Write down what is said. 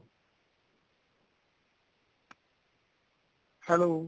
hello